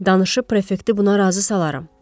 Danışıb prefekti buna razı salaram.